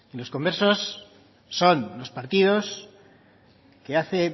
los conversos son los partidos que hace